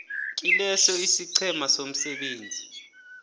kileso isiqhema somsebenzi